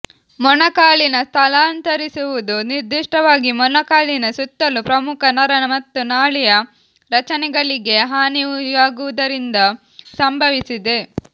ಮೊಣಕಾಲಿನ ಸ್ಥಳಾಂತರಿಸುವುದು ನಿರ್ದಿಷ್ಟವಾಗಿ ಮೊಣಕಾಲಿನ ಸುತ್ತಲೂ ಪ್ರಮುಖ ನರ ಮತ್ತು ನಾಳೀಯ ರಚನೆಗಳಿಗೆ ಹಾನಿಯಾಗುವುದರಿಂದಾಗಿ ಸಂಬಂಧಿಸಿದೆ